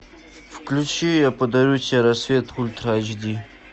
включи я подарю тебе рассвет ультра эйч ди